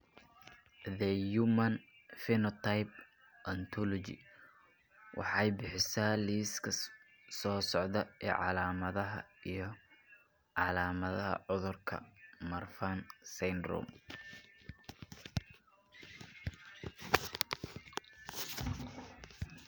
The Human Phenotype Ontology waxay bixisaa liiska soo socda ee calaamadaha iyo calaamadaha cudurka Marfan syndrome.